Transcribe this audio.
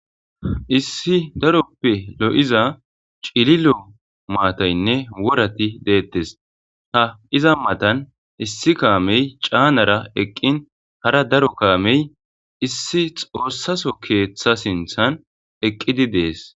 Issi daroppe lo7iza cililo maathaynne worathi deeththees; ha iza maathan issi kaamee caanara eqqin hara daro kaamee issi xoossaso keeththa sinththan eqqide de7ees.